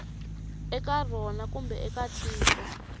eka rona kumbe eka tiko